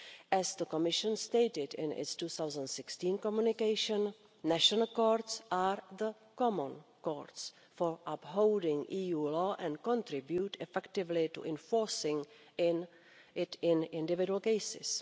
As the Commission stated in its 2016 communication, national courts are the common courts for upholding EU law and contribute effectively to enforcing it in individual cases.